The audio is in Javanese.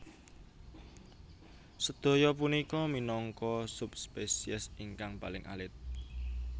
Sedaya punika minangka subspesies ingkang paling alit